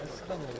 Qoy qalsın.